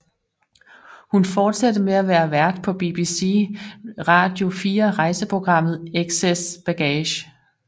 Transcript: Hun fortsatte med at være vært på BBC Radio 4 rejseprogrammet Excess Baggage